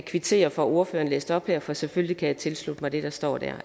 kvitterer for at ordføreren læste det op her for selvfølgelig kan jeg tilslutte mig det der står der